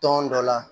Tɔn dɔ la